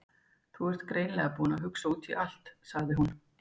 Þú ert greinilega búinn að hugsa út í allt- sagði hún.